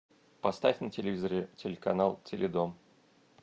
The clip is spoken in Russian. поставь на телевизоре телеканал теледом